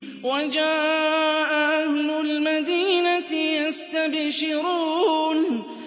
وَجَاءَ أَهْلُ الْمَدِينَةِ يَسْتَبْشِرُونَ